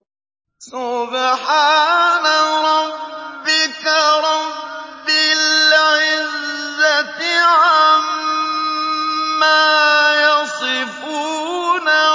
سُبْحَانَ رَبِّكَ رَبِّ الْعِزَّةِ عَمَّا يَصِفُونَ